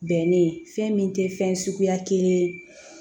Bɛnnen fɛn min tɛ fɛn suguya kelen ye